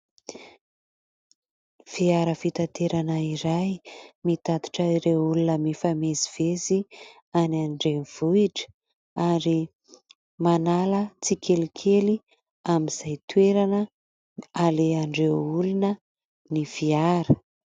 Fiara fitaterana iray mitatitra ireo olona mifamezivezy any an-drenivohitra ary manala tsikelikely amin'izay toerana alehan'ireo olona ny fiara.